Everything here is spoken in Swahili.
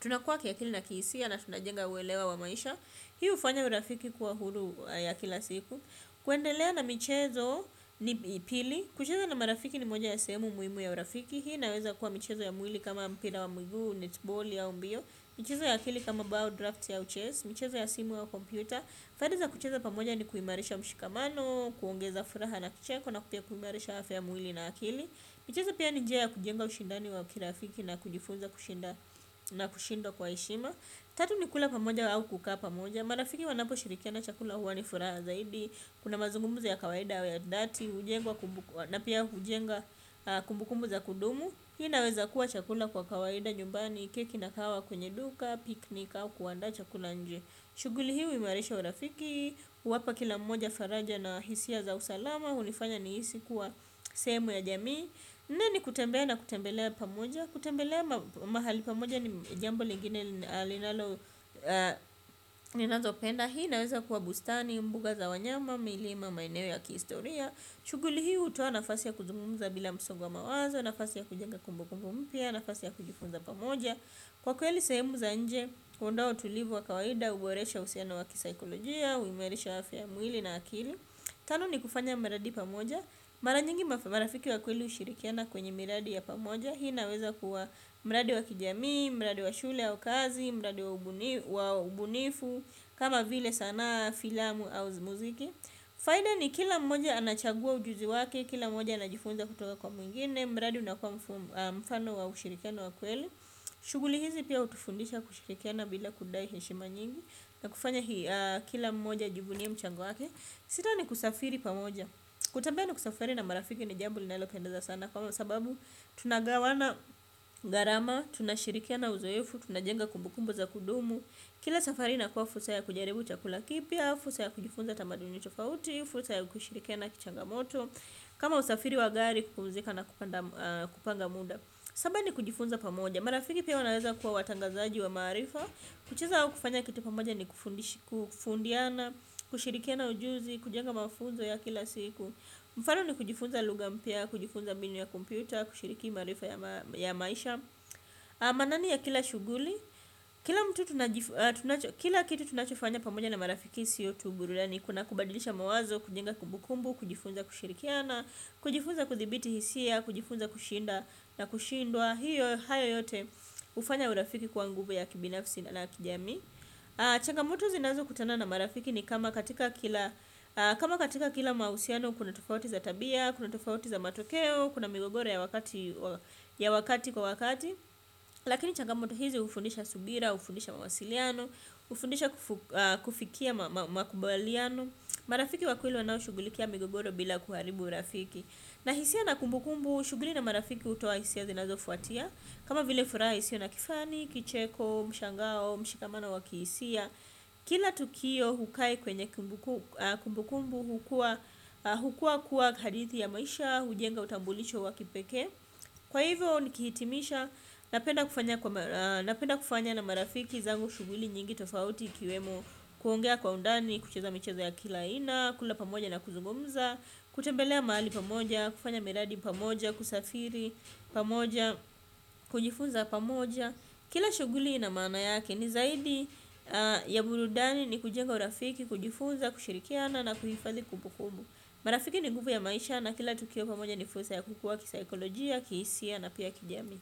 tunakua kiakili na kihisia na tunajenga uelewa wa maisha. Hii ufanya urafiki kuwa huru ya kila siku. Kuendelea na michezo ni pili. Kucheza na marafiki ni moja ya sehemu muhimu ya urafiki. Hii naweza kuwa michezo ya mwili kama mpira wa mguu netball au mbio. Michezo ya akili kama bow draft ya uches. Michezo ya simu au kompyuta faida za kucheza pamoja ni kuimarisha mshikamano. Kuongeza furaha na kicheko na pia kuimarisha afya ya mwili na akili. Michezo pia ni njia ya kujenga ushindani wa kirafiki na kujifunza kushinda na kushindwa kwa heshima. Tatu ni kula pamoja au kukaa pamoja. Marafiki wanapo shirikiana chakula huwa ni furaha zaidi. Kuna mazungumuzo ya kawaida au ya dhati hujengwa. Na pia hujenga kumbu kumbu za kudumu. Hii inaweza kuwa chakula kwa kawaida nyumbani keki na kahawa kwenye duka, piknik au kuanda chakula nje. Shuguli hii huimarisha urafiki. Wapa kila mmoja faraja na hisia za usalama. Hunifanya nihisi kuwa sehemu ya jamii kutembea na kutembelea pamoja. Kutembelea mahali pamoja ni jambo lingine linalo ninazopenda hii naweza kuwa bustani, mbuga za wanyama, milima, maeneo ya kihistoria shuguli hii hutoa nafasi ya kuzugumumza bila msongo wa mawazo. Nafasi ya kujenga kumbu kumbu mpya, nafasi ya kujifuza pamoja. Kwa kweli sehemu za nje, huondoa utulivu wa kawaida, huboresha uhusiano waki saikolojia huimarisha afya ya mwili na akili. Tano ni kufanya mradi pamoja. Maranyingi marafiki wa kweli ushirikiana kwenye miradi ya pamoja. Hii naweza kuwa mradi wa kijami, mradi wa shule au kazi, mradi wa ubunifu. Kama vile saana filamu au muziki. Faida ni kila mmoja anachagua ujuzi wake, kila mmoja anajifunza kutoka kwa mwingine. Mradi unakua mfano wa ushirikiano wa kweli. Shuguli hizi pia utufundisha kushikikiana bila kudai heshima nyingi. Na kufanya hii kila mmoja ajivunie mchango wake. Sita ni kusafiri pamoja. Kutembea na kusafiri na marafiki ni jambo linalopendaza sana. Na kwa masababu, tunagawana garama, tunashirikiana uzoefu, tunajenga kumbukumbu za kudumu. Kila safari inakua fursa ya kujaribu chakula kipya fursa ya kujifunza tamaduni tofauti fursa ya kushirikiana kichangamoto. Kama usafiri wa gari kupumzika na kupanga muda. Saba ni kujifunza pamoja. Marafiki pia wanaweza kuwa watangazaji wa maarifa. Kucheza au kufanya kitu pamoja ni kufundiana, kushirikiana ujuzi, kujenga mafunzo ya kila siku. Mfano ni kujifunza luga mpya, kujifunza minu ya kompyuta, kushiriki maarifa ya maisha. Manani ya kila shuguli. Kila kitu tunachofanya pamoja na marafiki siyo tu burudani. Kuna kubadilisha mawazo, kujenga kumbukumbu, kujifunza kushirikiana. Kujifunza kuthibiti hisia, kujifunza kushinda na kushindwa. Hiyo hayo yote hufanya urafiki kwa nguvu ya kibinafisi na kijamii. Changamoto zinazo kutana na marafiki ni kama katika kila mausiano kuna tofauti za tabia, kuna tofauti za matokeo, kuna migogoro ya wakati kwa wakati. Lakini changamoto hizi ufundisha subira, ufundisha mawasiliano, ufundisha kufikia makubaliano. Marafiki wa kweli wanao shugulikia migogoro bila kuharibu urafiki. Na hisia na kumbukumbu, shuguli na marafiki utoa hisia zinazo fuatia. Kama vile furaa isio na kifani, kicheko, mshangao, mshikamano wa kiisia kila tukio hukaa kwenye kumbukumbu hukuwa kuwa hadithi ya maisha. Hujenga utambulisho wa kipekee. Kwa hivyo nikihitimisha, napenda kufanya na marafiki zangu shuguli nyingi tofauti ikiwemo kuongea kwa undani, kucheza michezo ya kila aina, kula pamoja na kuzumumza. Kutembelea maali pamoja, kufanya miradi pamoja, kusafiri pamoja kujifunza pamoja kila shuguli ina maana yake ni zaidi ya burudani ni kujenga urafiki kujifunza kushirikiana na kuhifazi kubu kubu marafiki ni nguvu ya maisha na kila tukio pamoja ni fursa ya kukua kisikolojia kisia na pia kijamii.